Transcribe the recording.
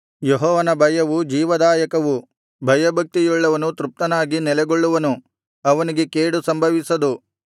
ಯೆಹೋವನ ಭಯವು ಜೀವದಾಯಕವು ಭಯಭಕ್ತಿಯುಳ್ಳವನು ತೃಪ್ತನಾಗಿ ನೆಲೆಗೊಳ್ಳುವನು ಅವನಿಗೆ ಕೇಡು ಸಂಭವಿಸದು